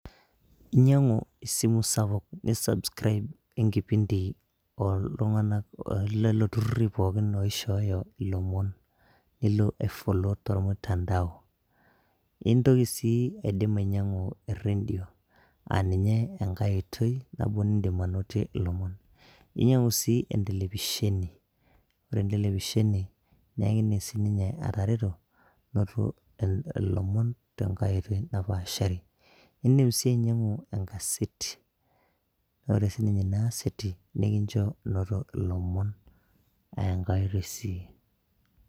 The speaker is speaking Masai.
Inyang'u esimu sapuk, ni subscribe enkipindi oltung'anak lelo turrurri pookin oishooyo ilomon. Nilo ai follow tolmutandao. Intoki si aidim ainyang'u erredio, aninye enkae oitoi nabo nidim anotie ilomon. Inyang'u si entelefisheni. Ore entelefisheni, nekidim sininye atareto, noto ilomon tenkae oitoi napaashari. Idim si ainyang'u enkaseti. Ore sininye inaaseti, nikincho noto ilomon eenkae oitoi sii.